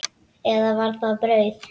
Eða var það brauð?